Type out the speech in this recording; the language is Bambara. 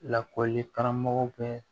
Lakɔli karamɔgɔw bɛ